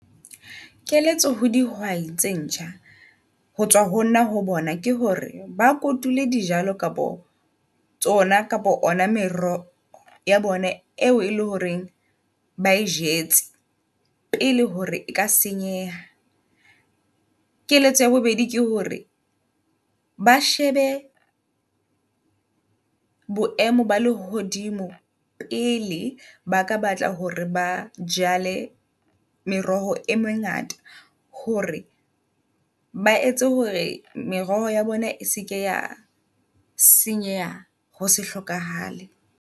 Keletso ho dihwai tse ntjha ho tswa ho nna ho bona ke hore ba kotule dijalo kapa tsona kapa ona meroho ya bone eo e le hore ba e jetse pele hore e ka senyeha. Keletso ya bobedi ke hore ba shebe boemo ba lehodimo pele baka batla hore ba ja jale meroho e mengata. Hore ba etse hore meroho ya bona e seke ya senyeha ho se hlokahale.